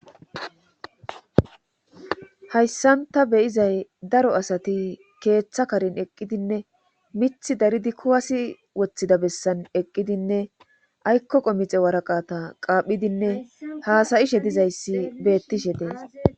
hayssan ta beyizay daro asati keeththa karin eqqidinne mith daridi kuwasi woththida bessan eqqidinne aykko qomixe waraqata qaaphidinne haasayishe dizayssi beettishe dees